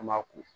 An b'a ko